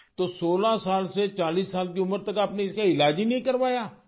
تو 16 سال سے 40 سال کی عمر تک آپ نے اس کا علاج ہی نہیں کرایا